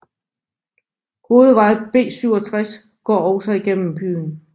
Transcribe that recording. Hovedvej B67 går også gennem byen